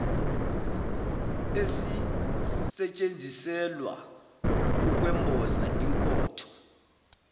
esisetshenziselwa ukwemboza inkotho